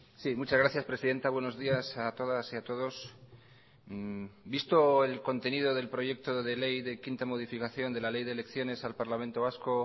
sí muchas gracias presidenta buenos días a todas y a todos visto el contenido del proyecto de ley de quinta modificación de la ley de elecciones al parlamento vasco